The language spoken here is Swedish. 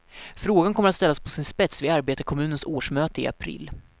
Frågan kommer att ställas på sin spets vid arbetarkommunens årsmöte i april.